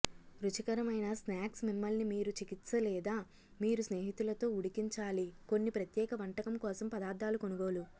రుచికరమైన స్నాక్స్ మిమ్మల్ని మీరు చికిత్స లేదా మీరు స్నేహితులతో ఉడికించాలి కొన్ని ప్రత్యేక వంటకం కోసం పదార్థాలు కొనుగోలు